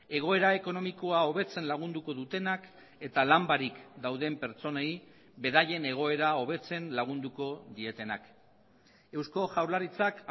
egoera ekonomikoa hobetzen lagunduko dutenak eta lan barik dauden pertsonei beraien egoera hobetzen lagunduko dietenak eusko jaurlaritzak